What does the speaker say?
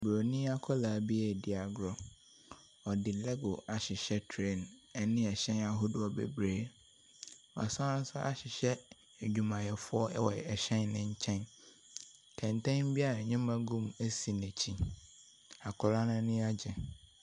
Buroni akwadaa bi redi agorɔ. Ɔde label ahyehyɛ train ne hyɛn ahodoɔ bebree. Wasan nso ahyehyɛ adwumayɛfoɔ wɔ hyɛn no nkyɛn. Kɛntɛn bi a nneɛma gu mu si n'akyi. Akwadaa no ani agye.